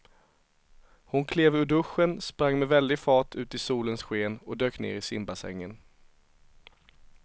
Hon klev ur duschen, sprang med väldig fart ut i solens sken och dök ner i simbassängen.